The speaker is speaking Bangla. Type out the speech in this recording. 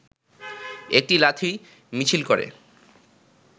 একটি লাঠি মিছিল করে